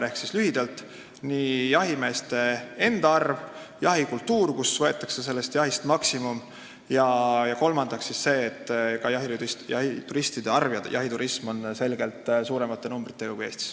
Ehk lühidalt: jahimeeste enda arv, jahikultuur, mis tähendab, et võetakse jahist maksimum, ja kolmandaks see, et ka jahituristide arv on suurem ja jahiturism on selgelt rohkem levinud kui Eestis.